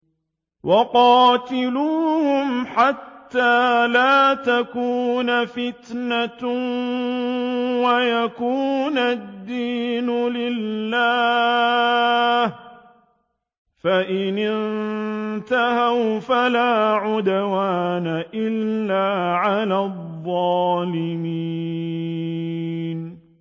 وَقَاتِلُوهُمْ حَتَّىٰ لَا تَكُونَ فِتْنَةٌ وَيَكُونَ الدِّينُ لِلَّهِ ۖ فَإِنِ انتَهَوْا فَلَا عُدْوَانَ إِلَّا عَلَى الظَّالِمِينَ